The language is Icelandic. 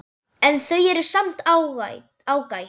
En þau eru samt ágæt.